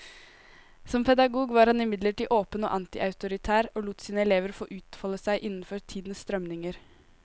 Som pedagog var han imidlertid åpen og antiautoritær, og lot sine elever få utfolde seg innenfor tidens strømninger.